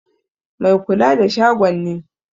Mai kula da shagon ne.